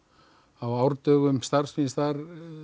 á árdögum starfs míns þar